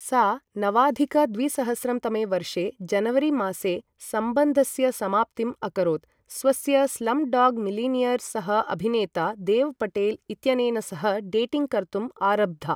सा नवाधिक द्विसहस्रं तमे वर्षे जनवरीमासे सम्बन्धस्य समाप्तिम् अकरोत्, स्वस्य स्लमडॉग् मिलियनेर् सह अभिनेता देव पटेल इत्यनेन सह डेटिङ्ग् कर्तुं आरब्धा ।